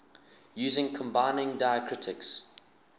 using combining diacritics